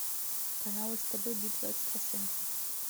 канал стб битва экстрасенсов